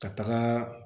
Ka taga